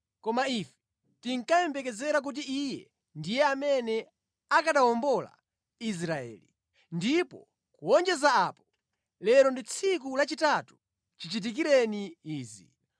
koma ife tinkayembekezera kuti Iye ndiye amene akanawombola Israeli. Ndipo kuwonjeza apo, lero ndi tsiku lachitatu chichitikireni izi.